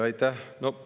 Aitäh!